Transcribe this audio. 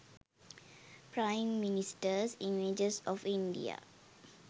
prime ministers images of india